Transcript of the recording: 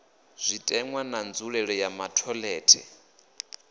zwitenwa na nzulelele ya matholetwe